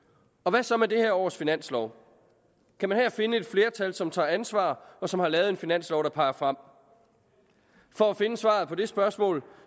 hvad så med det her års finanslov kan man her finde et flertal som tager ansvar og som har lavet en finanslov der peger frem for at finde svaret på det spørgsmål